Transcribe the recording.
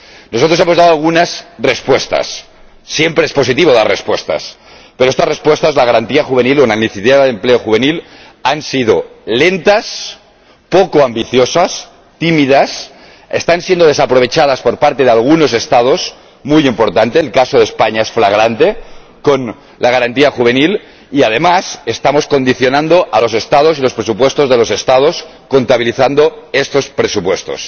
Nosotros hemos dado algunas respuestas —siempre es positivo dar respuestas—, pero estas respuestas —la Garantía Juvenil, una iniciativa de empleo juvenil— han sido lentas, poco ambiciosas, tímidas, están siendo desaprovechadas por parte de algunos Estados —muy importante el caso de España es flagrante con la Garantía Juvenil— y, además, estamos condicionando a los Estados y los presupuestos de los Estados contabilizando estos presupuestos.